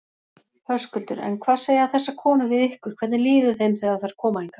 Höskuldur: En hvað segja þessar konur við ykkur, hvernig líður þeim þegar þær koma hingað?